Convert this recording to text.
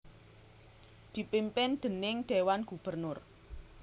dipimpin déning Dewan Gubernur